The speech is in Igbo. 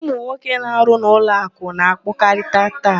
Ụmụnwoke na-arụ n'ụlọakụ na-akpọkarị taị.